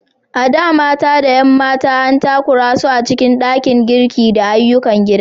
A da, mata da 'yan mata an takura su a cikin ɗakin girki da ayyukan gida.